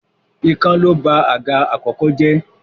Ikán ló ba àga àkọ́kọ́ jẹ́.